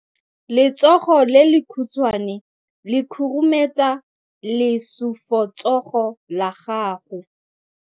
Letsogo le lekhutshwane le khurumetsa lesufutsogo la gago.